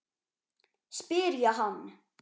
spyr ég hann.